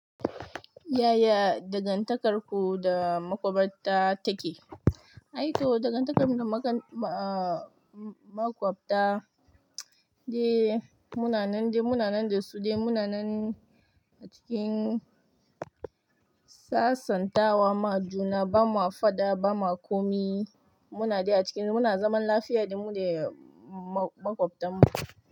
Yaya dangantakarku da maƙwabta take? Ai to dangantakarmu da ah maƙwabta, dai munanan dai munanan da su dai munanan a cikin sasantawa. Ba ma juna, ba ma faɗa, ba ma komi. Munada a cikin, muna zaman lafiya da mu dai maƙwabtan mu.